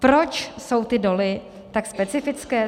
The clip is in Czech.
Proč jsou ty doly tak specifické?